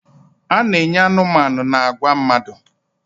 A na-enye anụmanụ na agwa mmadụ.